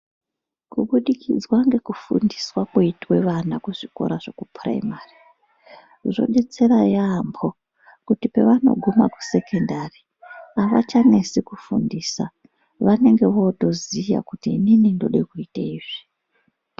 Kubudikidzwa ngekufundiswa kwoite vana kuzvikora zvekupuraimari zvodetsera yaampo kuti pavanoguma kusekondari avachanesi kufundisa vanenge votoziya kuti inini ndode kuite izvi.